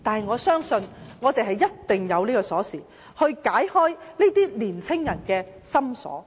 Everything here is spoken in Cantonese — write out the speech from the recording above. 我相信一定有鎖匙能夠解開青年人的心鎖。